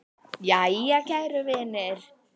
Jæja, kæru vinir.